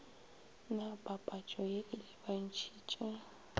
na papatšo ye e lebantšhitše